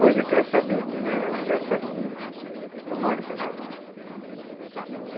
Hoje eu quero saber quem é o engraçadinho que que comanda essas bagunça.